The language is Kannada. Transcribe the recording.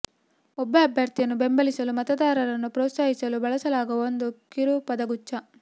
ಒಬ್ಬ ಅಭ್ಯರ್ಥಿಯನ್ನು ಬೆಂಬಲಿಸಲು ಮತದಾರರನ್ನು ಪ್ರೋತ್ಸಾಹಿಸಲು ಬಳಸಲಾಗುವ ಒಂದು ಕಿರು ಪದಗುಚ್ಛ